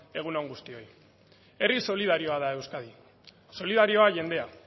egun on guztioi herri solidarioa da euskadi solidarioa jendea